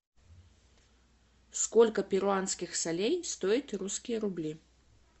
сколько перуанских солей стоят русские рубли